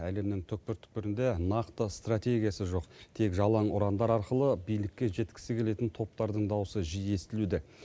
әлемнің түкпір түкпірінде нақты стратегиясы жоқ тек жалаң ұрандар арқылы билікке жеткісі келетін топтардың дауысы жиі естілуде